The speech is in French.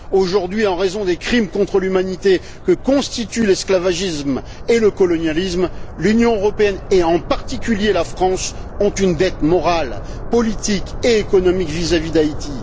Aujourd'hui, en raison des crimes contre l'humanité que constituent l'esclavagisme et le colonialisme, l'Union européenne et, en particulier, la France, ont une dette morale, politique et économique vis à vis d'Haïti.